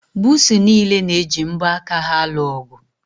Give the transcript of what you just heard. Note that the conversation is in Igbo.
Buusu niile na-eji mbo aka ha alụ ọgụ.